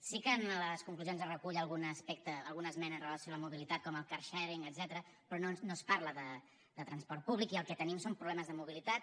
sí que en les conclusions es recull algun aspecte alguna esmena amb relació a la mobilitat com el car sharing etcètera però no es parla de transport públic i el que tenim són problemes de mobilitat